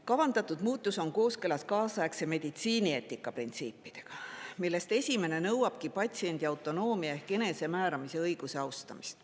Kavandatud muutus on kooskõlas kaasaegse meditsiinieetika printsiipidega, millest esimene nõuabki patsiendi autonoomia ehk enesemääramise õiguse austamist.